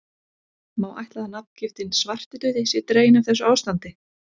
Má ætla að nafngiftin svartidauði sé dregin af þessu ástandi.